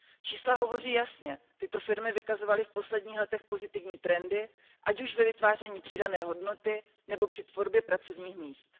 Čísla hovoří jasně, tyto firmy vykazovaly v posledních letech pozitivní trendy, ať už ve vytváření přidané hodnoty nebo při tvorbě pracovních míst.